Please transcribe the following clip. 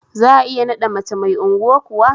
Za'a iya naɗa mace mai unguwa kuwa?